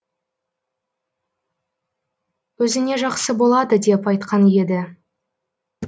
өзіңе жақсы болады деп айтқан еді